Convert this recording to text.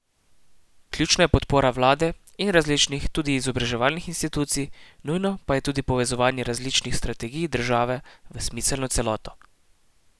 Ključna je podpora vlade in različnih, tudi izobraževalnih institucij, nujno pa je tudi povezovanje različnih strategij države v smiselno celoto.